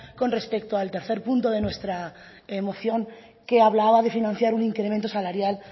con respecto al tercer punto de nuestra moción que hablaba de financiar un incremento salarial